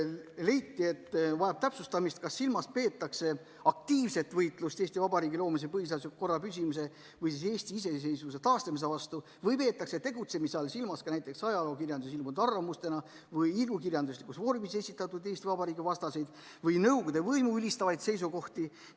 Leiti, et vajab veel täpsustamist, kas silmas peetakse aktiivset võitlust Eesti Vabariigi loomise, põhiseadusliku korra püsimise ja Eesti iseseisvuse taastamise vastu või peetakse tegutsemise all silmas ka näiteks ajalookirjanduses ilmunud arvamustena või ilukirjanduslikus vormis esitatud Eesti Vabariigi vastaseid või nõukogude võimu ülistavaid seisukohti.